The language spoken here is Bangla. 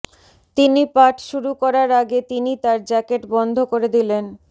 তিনি পাঠ শুরু করার আগে তিনি তার জ্যাকেট বন্ধ করে দিলেন